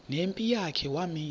nempi yakhe wamisa